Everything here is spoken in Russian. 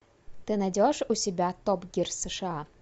ты найдешь у себя топ гир сша